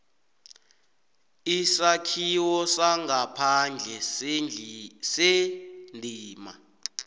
isakhiwo sangaphandle sendima